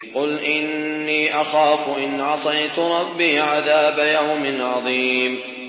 قُلْ إِنِّي أَخَافُ إِنْ عَصَيْتُ رَبِّي عَذَابَ يَوْمٍ عَظِيمٍ